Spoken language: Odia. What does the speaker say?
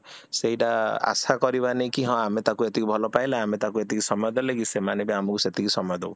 ସେଇଟା ଆଶା କରିବାନି କି ହଁ ଆମେ ତାକୁ ଏତିକି ଭଲ ପାଇଲେ ଆମେ ତାକୁ ଏତିକି ସମୟ ଦେଲେ କି ସେମାନେ ବି ଆମକୁ ସେତିକି ସମୟ ଦୋଉ